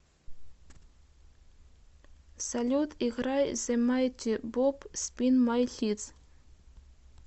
салют играй зе майти боп спин май хитс